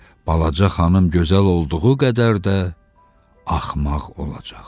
Balaca xanım gözəl olduğu qədər də axmaq olacaq.